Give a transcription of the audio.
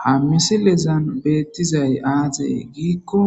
ha misilezan beettizay aazey giikko